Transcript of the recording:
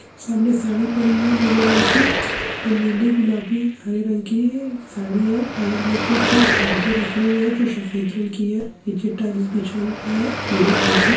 सामने साड़ी पड़ी हुई है नीले रंग की नीली गुलाबी हरे रंग की साड़ी है बगल में कुछ पर्दे रखे हुए है जो सफेद रंग की है और नीचे टाइल्स बिछा हुआ है पीले रंग की--